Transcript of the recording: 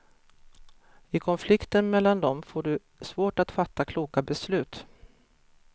I konflikten mellan dem får du svårt att fatta kloka beslut.